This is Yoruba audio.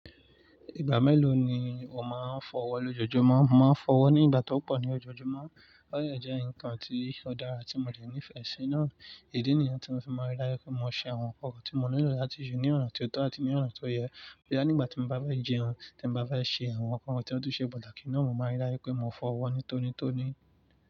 Ìgbà mélòó ni o máa ń fọwọ́ lójoojúmọ́? Mo máa ń fọwọ́ ní ìgbà tí ó pọ̀ ní ojoojúmọ́. O de jẹ́ nǹkan tí ó dára tí mo dẹ ní ìfẹ́ sí. Idi nìyẹn tí mo fi máa ń rí daju pé mo ṣe àwọn nǹkan tí mo nílò láti se ní ọ̀na tí ó tọ́ àti ní ọ̀na tó yẹ. Nígbà tí mo bá fẹ́ jẹun, tí mo bá fẹ́ ṣe àwọn nǹkan tí ó tùn ṣe pataki naa, mo maá n rí daju pé mo fọwọ́ ní tòní n tòní.